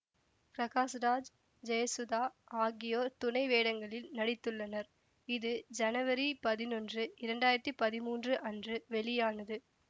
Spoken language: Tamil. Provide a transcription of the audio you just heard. பிரகாஷ்ராஜ் ஜெயசுதா ஆகியோர் துணை வேடங்களில் நடித்துள்ளனர் இது ஜனவரி பதினொன்று இரண்டாயிரத்தி பதிமூன்று அன்று வெளியானது